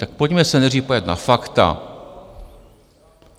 Tak pojďme se nejdřív podívat na fakta.